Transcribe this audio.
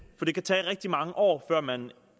det kan tage rigtig mange år før man